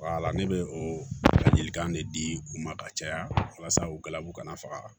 ne bɛ o ladilikan de di u ma ka caya walasa u galabu kana faga